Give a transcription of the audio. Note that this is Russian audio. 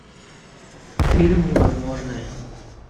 фильм невозможное